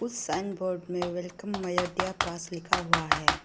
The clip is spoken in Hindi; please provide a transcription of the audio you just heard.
साइन बोर्ड में वेलकम मायूडिया पास लिखा हुआ है।